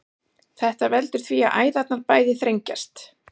þetta veldur því að æðarnar bæði þrengjast